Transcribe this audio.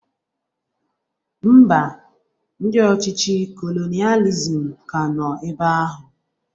Ḿbà, ndị ọchịchị kolonializm ka nọ ebea ahụ